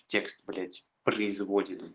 текст блять производит